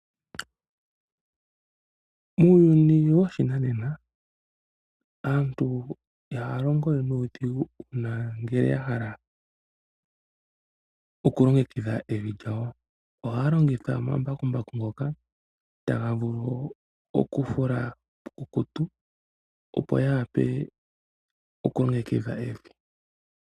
Muuyuni woshinane, aantu ihaalongo we nuudhigu uuna ngele ya hala oku longekidha evi lyawo. Ohaa longitha omambakumbaku ngoka taga vulu okufula puukukutu opo ya wape oku longekidha evi.